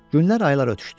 Günlər, aylar ötüşdü.